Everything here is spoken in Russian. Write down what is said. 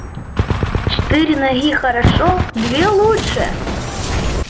четыре ноги хорошо две лучше